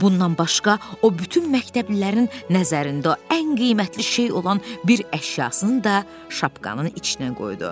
Bundan başqa o bütün məktəblilərin nəzərində ən qiymətli şey olan bir əşyasını da şapkanın içinə qoydu.